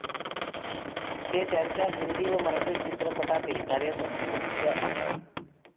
ते त्यांच्या हिन्दी व मराठी चित्रपटातील कार्यासाठी प्रसिद्ध आहेत